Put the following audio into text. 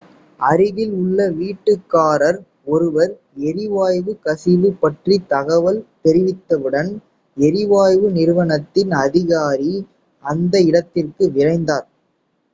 அருகில் உள்ள வீட்டுக்காரர் ஒருவர் எரிவாயு கசிவு பற்றி தகவல் தெரிவித்தவுடன் எரிவாயு நிறுவனத்தின் அதிகாரி அந்த இடத்திற்கு விரைந்தார்